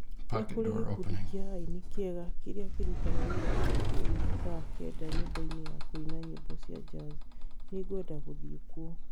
nĩ kũrĩ gĩkundi kĩa aini kĩega kĩrĩa kĩraruta wĩra ũtukũ ũyũ thaa kenda nyũmba-inĩ ya kũina nyĩmbo cia jazz. Nĩ ngwenda gũthiĩ kuo